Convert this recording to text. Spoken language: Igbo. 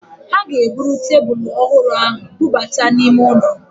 Ha ga-eburu tebulu ọhụrụ ahụ bubata n'ime ụlọ